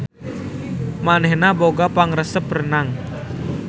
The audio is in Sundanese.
Manehna boga pangaresep renang.